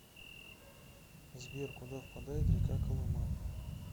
сбер куда впадает река колыма